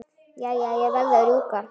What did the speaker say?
Jæja, ég verð að rjúka.